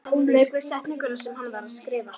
Lauk við setninguna sem hann var að skrifa.